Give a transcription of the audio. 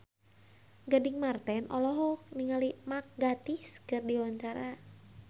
Gading Marten olohok ningali Mark Gatiss keur diwawancara